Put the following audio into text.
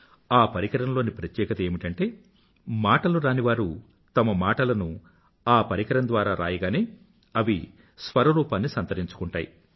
ఆ పరికరంలోని ప్రత్యేకత ఏమిటంటే మాటలురానివారు తమ మాటలను ఆ పరికరం ద్వారా రాయగానే అవి స్వరరూపాన్ని సంతరించుకుంటాయి